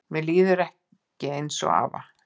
Mér líður ekki eins og afa